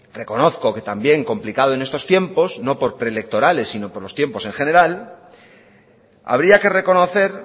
reconozco que también complicado en estos tiempo no por preelectorales sino por los tiempos en general habría que reconocer